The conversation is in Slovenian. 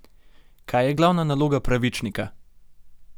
Kaj je glavna naloga Pravičnika?